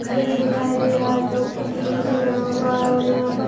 घर भी दिखाई दे रहा है जोकि टीनों से बना हुआ है और यहाँ पर --